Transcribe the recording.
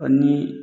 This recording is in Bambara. Ɔ ni